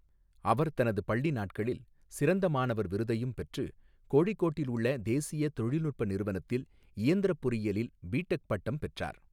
அவர் தனது பள்ளி நாட்களில் சிறந்த மாணவர் விருதையும் பெற்று, கோழிக்கோட்டில் உள்ள தேசிய தொழில்நுட்ப நிறுவனத்தில் இயந்திரப் பொறியியலில் பிடெக் பட்டம் பெற்றார்.